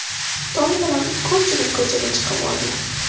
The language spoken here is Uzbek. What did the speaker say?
Tong bilan ko‘pchilik ko‘chaga chiqib olgan.